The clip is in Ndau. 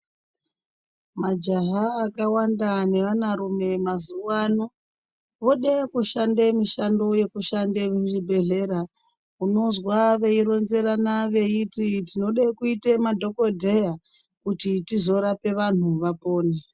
Majaha akawanda neaanarume mazuwa ano ,vode kushande mishando yekushande muzvibhedhlera. Unozwa veironzerana veiti tinode kuite madhokodheya kuti tizorape vanthu vapone.